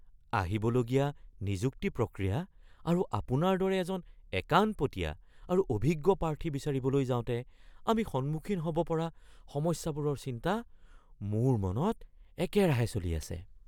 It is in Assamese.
আহিবলগীয়া নিযুক্তি প্ৰক্ৰিয়া আৰু আপোনাৰ দৰে এজন একাণপতীয়া আৰু অভিজ্ঞ প্ৰাৰ্থী বিচাৰিবলৈ যাওঁতে আমি সন্মুখীন হ’ব পৰা সমস্যাবোৰৰ চিন্তা মোৰ মনত একেৰাহে চলি আছে।